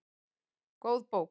Góð bók